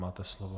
Máte slovo.